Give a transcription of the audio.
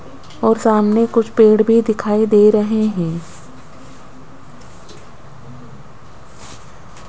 और सामने कुछ पेड़ भी दिखाई दे रहे हैं।